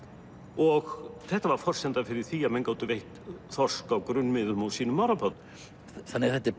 og þetta var forsenda fyrir því að menn gátu veitt þorsk á grunnmiðum á sínum árabát þannig að þetta er